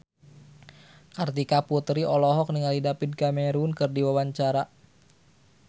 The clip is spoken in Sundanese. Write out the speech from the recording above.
Kartika Putri olohok ningali David Cameron keur diwawancara